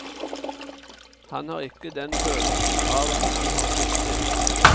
Han har ikke den følelsen av at han har sviktet.